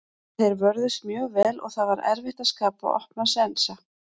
Þeir vörðust mjög vel og það var erfitt að skapa opna sénsa.